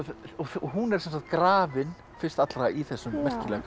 hún er sem sagt grafin fyrst allra í þessum merkilega